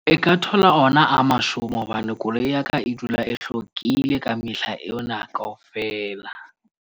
E ka thola ona a mashome hobane koloi ya ka e dula e hlwekile ka mehla ena kaofela.